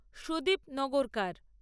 Sudip Nagarkar